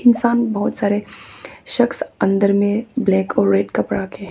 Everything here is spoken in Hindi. सामने बहुत सारे शख्स अंदर में ब्लैक और रेड कपड़ा के--